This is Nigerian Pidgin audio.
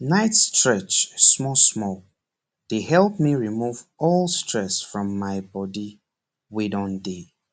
night stretch smallsmall dey help me remove all stress from my body wey don dey